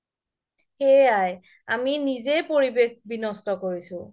সেইয়াই আমি নিজেই পৰিৱেশ বিন্যস্ত কৰিছো